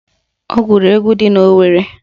Ọ gụrụ egwu ndị Owerre